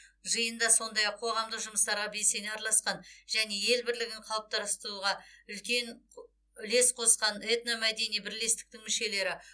жиында сондай ақ қоғамдық жұмыстарға белсене араласқан және ел бірлігін қалыптастыруға үлес қосқан этномәдени бірлестіктің мүшелері